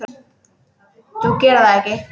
Þú gerðir það ekki?